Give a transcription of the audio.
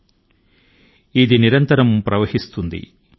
yeah కల్ కల్ ఛల్ఛల్ బహ్ తీ క్యా కహ్ తీ గంగా ధారా